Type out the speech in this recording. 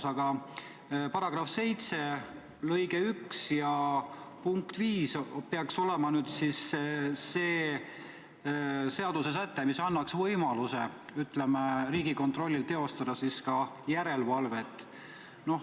Selle seaduse § 7 lõige 1 ja punkt 5 peaks olema see seadusesäte, mis annaks Riigikontrollile võimaluse teostada ka seda järelevalvet.